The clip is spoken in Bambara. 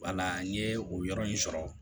Wala n ye o yɔrɔ in sɔrɔ